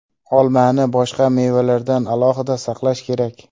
Olmani boshqa mevalardan alohida saqlash kerak.